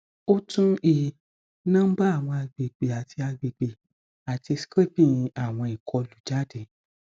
o tun i nomba awọn agbegbe ati agbegbe ati scraping awọn ikolu jade